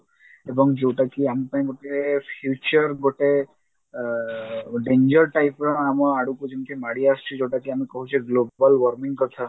ଏବଂ ଯଉଟା କି ଆମପାଇଁ ଗୋଟେ future ଗୋଟେ ଅ danger type ର ଆମ ଆଡକୁ ଯେମିତି ମାଡିଆସୁଛି ଯଉଟାକି ଆମେ କହୁଛେ global warming କଥା